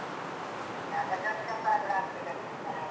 ಹಾಗಾದ್ರೆ ಒಂದು ಚಪ್ಪರ ಕೂಡ ಹಾಕ್ಬೇಕಾಗ್ತದೆ ಮನೆಯಲ್ಲಿ.